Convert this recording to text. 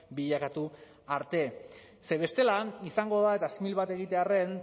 bilakatu arte ze bestela han izango da eta simil bat egitearren